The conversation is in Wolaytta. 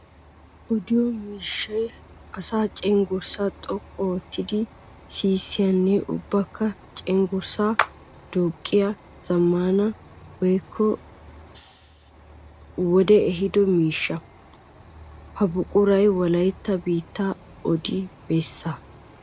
Odiyo miishshay asaa ceunggurssa xoqqu ootiddi sissiyanne ubbakka cenggurssa duuqiya zamaana wode ehiddo miishsha. Ha buquray wolaytta biitta odi bessaga.